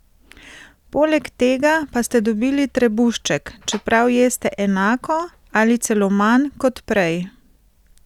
Poleg tega pa ste dobili trebušček, čeprav jeste enako ali celo manj kot prej?